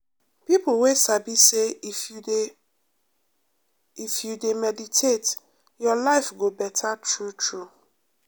people wey sabi say if you dey if you dey meditate your life go better true-true.